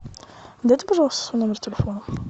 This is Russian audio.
дайте пожалуйста свой номер телефона